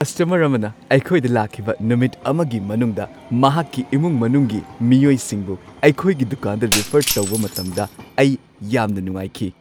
Customer ꯑꯃꯅ ꯑꯩꯈꯣꯏꯗ ꯂꯥꯛꯈꯤꯕ ꯅꯨꯃꯤꯠ ꯑꯃꯒꯤ ꯃꯅꯨꯡꯗ ꯃꯍꯥꯛꯀꯤ ꯏꯃꯨꯡ-ꯃꯅꯨꯡꯒꯤ ꯃꯤꯑꯣꯏꯁꯤꯡꯕꯨ ꯑꯩꯈꯣꯏꯒꯤ ꯗꯨꯀꯥꯟꯗ ꯔꯤꯐꯔ ꯇꯧꯕ ꯃꯇꯝꯗ ꯑꯩ ꯌꯥꯝꯅ ꯅꯨꯡꯉꯥꯏꯈꯤ꯫